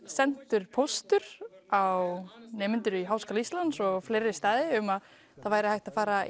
sendur póstur á nemendur í Háskóla Íslands og á fleiri staði að það væri hægt að fara